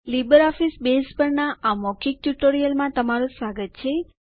LibreOffice Base પરના આ મૌખિક ટ્યુટોરીયલમાં તમારું સ્વાગત છે